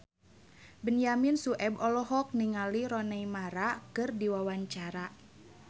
Benyamin Sueb olohok ningali Rooney Mara keur diwawancara